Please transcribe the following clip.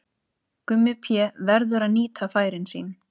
Gummi Pé verður að nýta færin sín!